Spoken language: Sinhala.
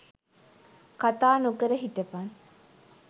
කතා නොකර හිටපන්.